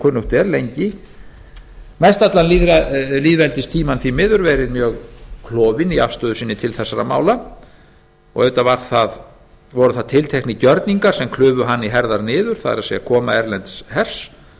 kunnugt er lengi mest allan lýðveldistímann verið mjög klofin í afstöðu sinni til þessara mála auðvitað voru það tilteknir gjörningar sem klufu hana í herðar niður það er koma erlends hers